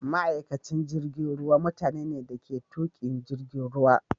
Ma'aikacin jirigin ruwa mutani ne dake tukin jirigin ruwa.